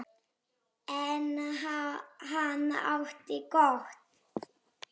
En hann átti gott.